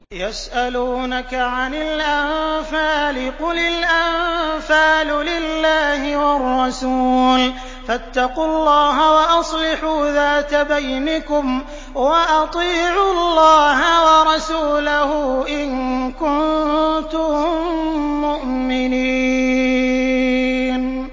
يَسْأَلُونَكَ عَنِ الْأَنفَالِ ۖ قُلِ الْأَنفَالُ لِلَّهِ وَالرَّسُولِ ۖ فَاتَّقُوا اللَّهَ وَأَصْلِحُوا ذَاتَ بَيْنِكُمْ ۖ وَأَطِيعُوا اللَّهَ وَرَسُولَهُ إِن كُنتُم مُّؤْمِنِينَ